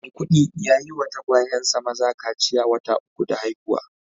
Maikudi ya yi wa tagwayensa maza kaciya wata uku da haihuwa